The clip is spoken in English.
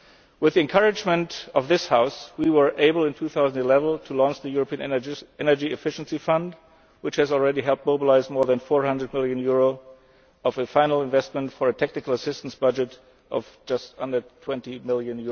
With the encouragement of this House, we were able, in 2011, to launch the European Energy Efficiency Fund, which has already helped mobilise more than EUR 400 million of final investment for a technical assistance budget of just under EUR 20 million.